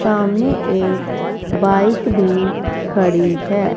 सामने एक बाइक भी खड़ी है।